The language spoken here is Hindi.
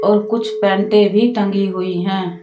और कुछ पैंटे भी टंगी हुई है।